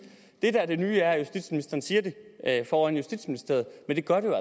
det der er det nye er at justitsministeren siger det foran justitsministeriet men det gør det